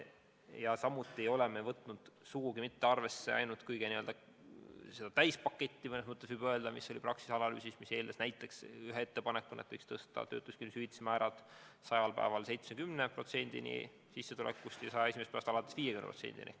Ja me ei ole võtnud sugugi arvesse ainult seda täispaketti, mis oli Praxise analüüsis ja mis pakkus ühe ettepanekuna, et võiks töötuskindlustushüvitise määra esimesel 100 päeval suurendada 70%-ni sissetulekust ja 101. päevast alates 50%-ni.